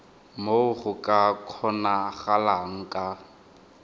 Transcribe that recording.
moo go ka kgonagalang ka